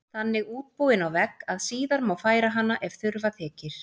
Þannig útbúin á vegg að síðar má færa hana ef þurfa þykir.